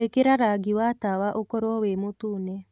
ĩkĩra rangĩ wa tawa ũkorwo wi mũtũne